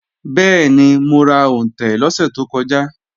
Bẹ́ẹ̀ni, mo ra òǹtẹ̀ lọ́sẹ̀ tó kọjá